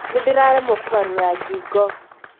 Nĩ ndĩraremwo kũgarũra ngingo.